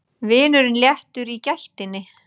Vinurinn léttur í gættinni.